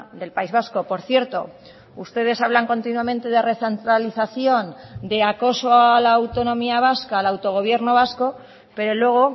del país vasco por cierto ustedes hablan continuamente de recentralización de acoso a la autonomía vasca al autogobierno vasco pero luego